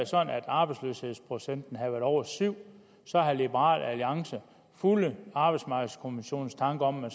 sådan at arbejdsløshedsprocenten havde været over syv så havde liberal alliance fulgt arbejdsmarkedeskommissionens tanker om at